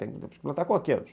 que plantar coqueiros.